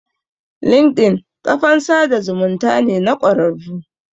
Linkedin ƙafan sada zumunta ne na kwararru